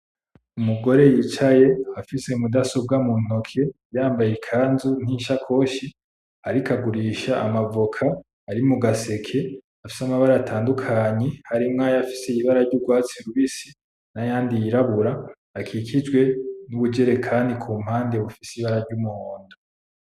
Umugore yicaye afise mudasobwa mu ntoke yambaye ikanzu; n'ishakoshi, ariko agurisha amavoka ari mu gaseke afise amabara atandukanye harimwo ay'afise ibara ry'ugwatsi rubisi; n'ayandi yirabura, akikijwe n'ubujerekani ku mpande bufise ibara ry'umuhundo.